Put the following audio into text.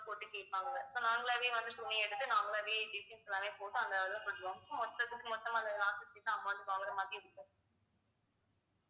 போட்டு கேப்பாங்க so நாங்களாவே வந்து துணி எடுத்து நாங்களாவே designs நிறைய போட்டு அந்த அளவுல கொஞ்சம் மொத்தத்துக்கு மொத்தமா அந்த amount வாங்குற மாதிரி இருக்கும்